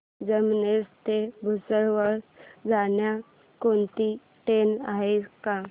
जामनेर ते भुसावळ जाणारी कोणती ट्रेन आहे का